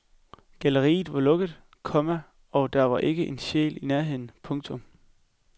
Galleriet var lukket, komma og der var ikke en sjæl i nærheden. punktum